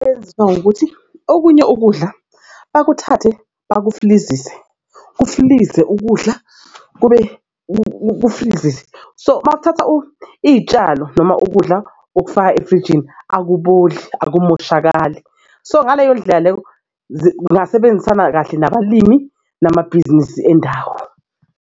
Eyenziwayo ukuthi okunye ukudla bakuthathe bakufilizise kufilize ukudla kufilize so makuthatha iy'tshalo noma ukudla okufaka efrijini akuboli akumoshakala. So, ngaleyo ndlela leyo zingasebenzisana kahle nabalimi namabhizinisi endawo.